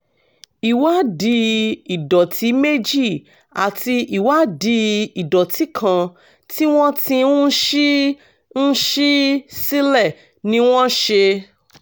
ìwádìí ìdọ̀tí méjì àti ìwádìí ìdọ̀tí kan tí wọ́n ti ń ṣí ń ṣí sílẹ̀ ni wọ́n ṣe